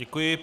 Děkuji.